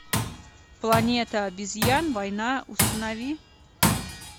планета обезьян война установи